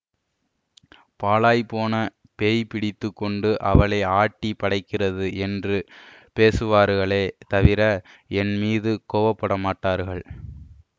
பாழாய் போன பேய் பிடித்து கொண்டு அவளை ஆட்டிப் படைக்கிறது என்று பேசுவார்களே தவிர என்மீது கோபப்பமாட்டார்கள்